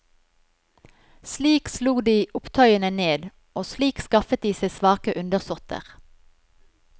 Slik slo de opptøyene ned, og slik skaffet de seg svake undersåtter.